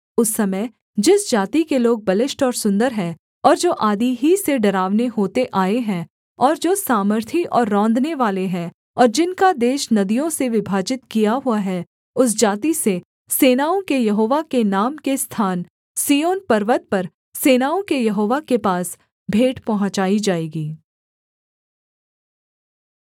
उस समय जिस जाति के लोग बलिष्ठ और सुन्दर हैं और जो आदि ही से डरावने होते आए हैं और जो सामर्थी और रौंदनेवाले हैं और जिनका देश नदियों से विभाजित किया हुआ है उस जाति से सेनाओं के यहोवा के नाम के स्थान सिय्योन पर्वत पर सेनाओं के यहोवा के पास भेंट पहुँचाई जाएगी